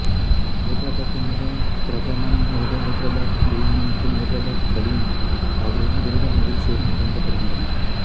ஐதராபாத்தின் மிகவும் பிரபலமான உணவுகள் ஐதராபாத்து பிரியாணி மற்றும் ஐதராபாத்து கலீம் ஆகியவை மிகுந்த மகிழ்ச்சியுடன் வழங்கப்படுகின்றன